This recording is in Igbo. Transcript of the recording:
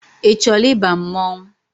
Ị chọọla ịba mmọnwụ?